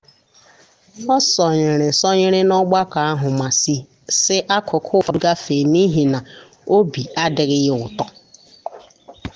ọ sonyere sonyere n’ogbako ahụ ma si akụkụ ụfọdụ gafe n’ihi na obi adịghị ya ụtọ.